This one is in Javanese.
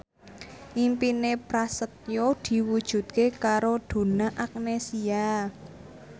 impine Prasetyo diwujudke karo Donna Agnesia